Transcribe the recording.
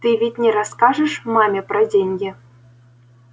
ты ведь не расскажешь маме про деньги